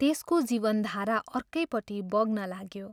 त्यसको जीवन धारा अर्कैपट्टि बग्न लाग्यो।